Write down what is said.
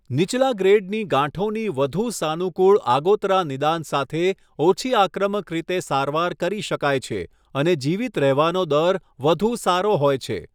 નીચલા ગ્રેડની ગાંઠોની વધુ સાનુકૂળ આગોતરા નિદાન સાથે, ઓછી આક્રમક રીતે સારવાર કરી શકાય છે અને જીવિત રહેવાનો દર વધુ સારો હોય છે.